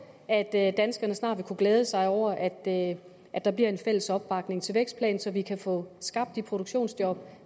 at at danskerne snart vil kunne glæde sig over at at der bliver en fælles opbakning til vækstplanen så vi kan få skabt de produktionsjob